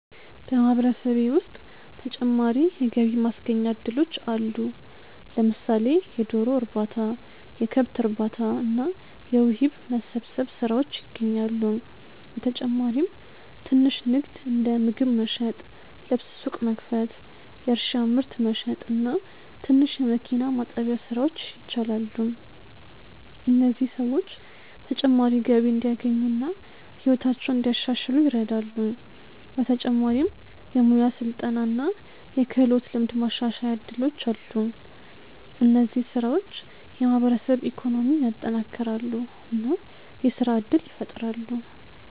በማህበረሰቤ ውስጥ ተጨማሪ የገቢ ማስገኛ እድሎች አሉ። ለምሳሌ የዶሮ እርባታ፣ የከብት እርባታ እና የውሂብ መሰብሰብ ስራዎች ይገኛሉ። በተጨማሪም ትንሽ ንግድ እንደ ምግብ መሸጥ፣ ልብስ ሱቅ መክፈት፣ የእርሻ ምርት መሸጥ እና ትንሽ የመኪና ማጠቢያ ስራዎች ይቻላሉ። እነዚህ ሰዎች ተጨማሪ ገቢ እንዲያገኙ እና ሕይወታቸውን እንዲያሻሽሉ ይረዳሉ። በተጨማሪም የሙያ ስልጠና እና የክህሎት ልምድ ማሻሻያ እድሎች አሉ። እነዚህ ስራዎች የማህበረሰብ ኢኮኖሚን ያጠናክራሉ እና የስራ እድል ይፈጥራሉ።